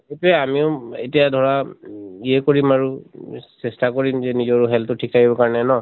এতিয়া আমিও এতিয়া ধৰা উম এহ কৰিম আৰু চেষ্টা কৰিম যে নিজৰ health টো ঠিক কাৰণে ন।